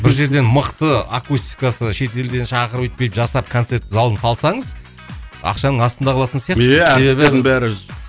бір жерден мықты акустикасы шет елден шақырып өйтіп бүйтіп жасап концерт залын салсаңыз ақшаның астында қалатын сияқтысыз